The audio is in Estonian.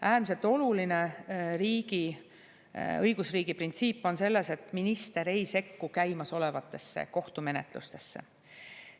Äärmiselt oluline õigusriigi printsiip on selles, et minister ei sekku käimasolevatesse kohtumenetlustesse.